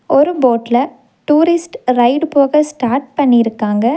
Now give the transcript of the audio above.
ஒரு போட்ல tourist ride போக ஸ்டார்ட் பண்ணிருக்காங்க.